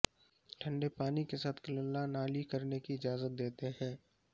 ٹھنڈے پانی کے ساتھ کللا نالی کرنے کی اجازت دیتے ہیں